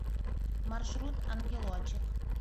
маршрут ангелочек